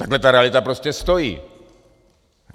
Takhle ta realita prostě stojí.